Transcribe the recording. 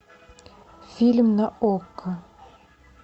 фильм на окко